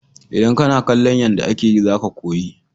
Idan kana kallon yanda ake yi za ka koyi.